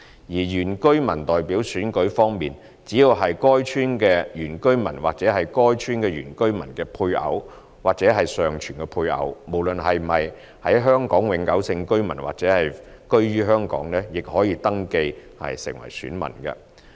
原居民代表選舉方面，只要是該村的原居民或是該村的原居民的配偶或尚存配偶，無論是否香港永久性居民或是否居於香港，亦可登記為選民。